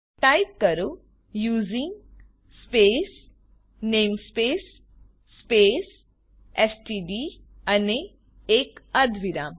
type કરો using space namespace space STD અને એક અર્ધવિરામ